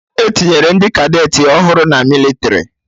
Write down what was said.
Etinyere ndị Kadeti ọhụrụ na mịlịtrị